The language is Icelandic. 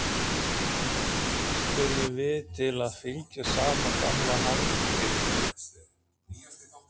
spurðum við til að fylgja sama gamla handritinu.